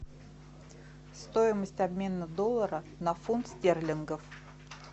стоимость обмена доллара на фунт стерлингов